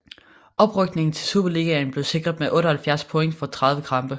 Oprykningen til Superligaen blev sikret med 78 point for 30 kampe